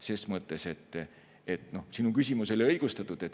Ses mõttes oli sinu küsimus õigustatud.